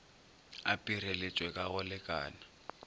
a pireletpwe ka go lekana